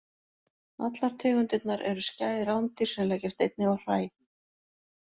Allar tegundirnar eru skæð rándýr sem leggjast einnig á hræ.